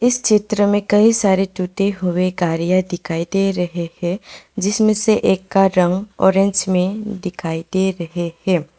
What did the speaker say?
इस चित्र में कई सारे टूटे हुए गाड़ियां दिखाई दे रही हैं जिसमें से एक का रंग ऑरेंज में दिखाई दे रहे हैं।